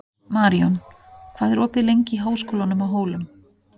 Maríon, hvað er opið lengi í Háskólanum á Hólum?